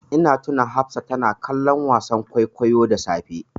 Ina tuna Hafsa tana kallon wasan kwaikwayo da safe.